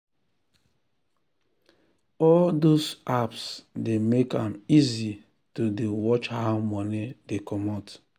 all those apps dey make am easy to dey watch how money dey comot